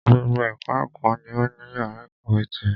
Gbogbo ẹka ẹ̀kọ́ ni o ní yàrá ìkàwé tirẹ̀.